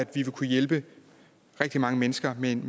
ville kunne hjælpe rigtig mange mennesker med en